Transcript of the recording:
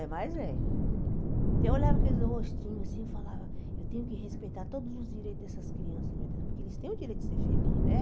É, mas é. Então eu olhava aqueles rostinhos assim e falava, eu tenho que respeitar todos os direitos dessas crianças, meu Deus, porque eles têm o direito de ser felizes, né?